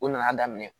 U nana daminɛ